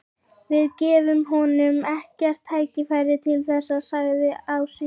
Við gefum honum ekkert tækifæri til þess, sagði Ási.